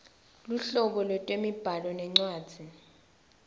luhlobo lwetemibhalo nencwadzi